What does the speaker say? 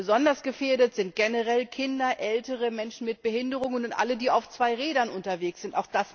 Besonders gefährdet sind generell Kinder, ältere Menschen mit Behinderungen und alle, die auf zwei Rädern unterwegs sind.